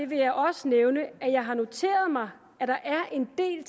vil jeg også nævne at jeg har noteret mig at der er en del